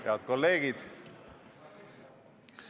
Head kolleegid!